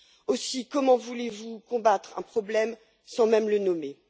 Aussi, comment voulez vous combattre un problème sans même le nommer?